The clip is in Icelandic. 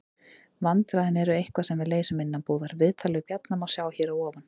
Vandræðin eru eitthvað sem við leysum innanbúðar. Viðtalið við Bjarna má sjá hér að ofan.